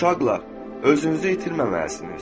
Uşaqlar, özünüzü itirməməlisiniz.